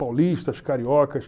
Paulistas, cariocas.